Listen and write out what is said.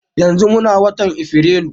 Yanzu muna watan afirilu